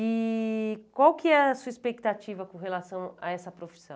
E qual que é a sua expectativa com relação a essa profissão?